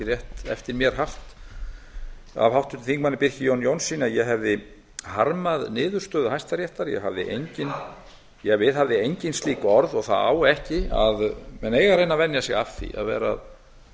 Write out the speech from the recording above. rétt eftir mér haft af háttvirtum þingmönnum birki jóni jónssyni að ég hefði harmað niðurstöðu hæstaréttar ég viðhafði engin slík orð og menn eiga að reyna að venja sig af því að vera að